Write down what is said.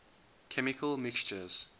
chemical mixtures